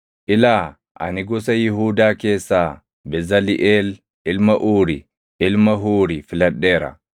“Ilaa, ani gosa Yihuudaa keessaa Bezaliʼeel ilma Uuri, ilma Huuri filadheera;